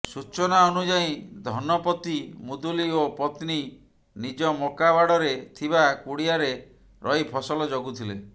ସୂଚନା ଅନୁଯାୟୀ ଧନପତି ମୁଦୁଲି ଓ ପତ୍ନୀ ନିଜ ମକା ବାଡରେ ଥିବା କୁଡିଆରେ ରହି ଫସଲ ଜଗୁଥିଲେ